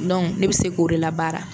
Dɔnku ne bɛ se k'o de la baara.